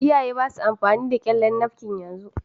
Iyaye ba sa amfani da ƙyallen nafkin yanzu